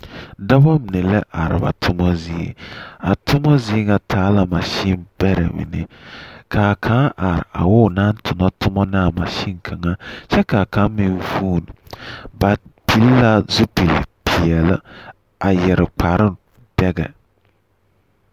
Dͻbͻ mine la are ba toma zie. A toma zie ŋa taa la masimbԑrԑ mine. Ka a kaŋa are a wo onaŋ tona toma ne a mansini kaŋa ky3 ka a kaŋa meŋ vuuni. Ba tuŋ la zupili peԑle a yԑre kpare dԑgԑ.